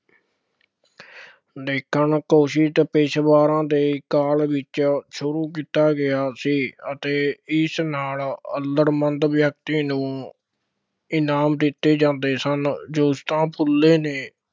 ਦੇਖਣ ਕੋਸ਼ਿਸ਼ ਪੇਸ਼ੇਵਰਾਂ ਦੇ ਕਾਲ ਵਿੱਚ ਸ਼ੁਰੂ ਕੀਤਾ ਗਿਆ ਸੀ ਅਤੇ ਇਸ ਨਾਲ ਅੱਲੜ੍ਹ ਮੰਦ ਵਿਅਕਤੀ ਨੂੰ ਇਨਾਮ ਦਿੱਤੇ ਜਾਂਦੇ ਸਨ, ਜੋਤੀਬਾ ਫੂਲੇ ਨੇ